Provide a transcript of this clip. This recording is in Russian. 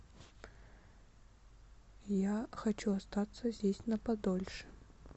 я хочу остаться здесь на подольше